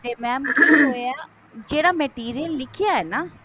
ਤੇ mam ਜਿਹੜਾ material ਲਿਖਿਆ ਹੀ ਨਾ